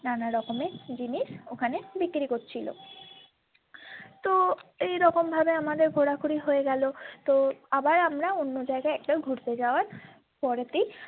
নানারকমের জিনিস ওখানে বিক্রি করছিলো তো এইরকম ভাবে আমাদের ঘোরাঘুরি হয়ে গেলো তো আবার আমরা অন্য জায়গায় একটা ঘুরতে যাওয়ার পরে তেই।